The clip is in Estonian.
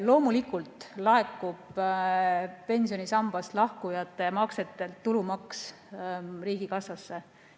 Loomulikult laekub pensionisambast lahkujate maksetelt tulumaks riigikassasse.